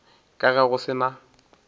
ka ge go se na